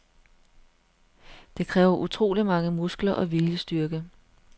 Det kræver utroligt mange muskler og viljestyrke.